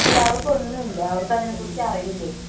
ഇല്ല അവർക്ക് ഒന്നും ഇല്ല അവർക്ക് അതിനെ കുറിച് ഒന്നും അറിയില്ലേ.